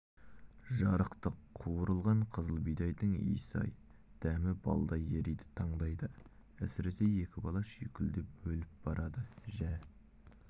жарықтық қуырылған қызыл бидайдың иісі-ай дәмі балдай ериді таңдайда әсіресе екі бала шүйкілдеп өліп барады жә